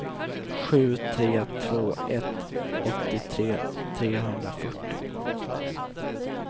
sju tre två ett åttiotre trehundrafyrtio